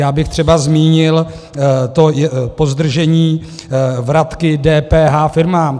Já bych třeba zmínil to pozdržení vratky DPH firmám.